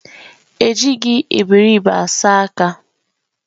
Ejighị eberibe asa aka